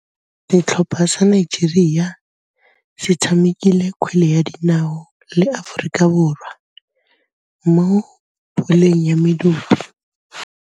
Setlhopha sa Nigeria se tshamekile kgwele ya dinaô le Aforika Borwa mo puleng ya medupe.